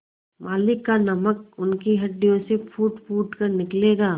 मालिक का नमक उनकी हड्डियों से फूटफूट कर निकलेगा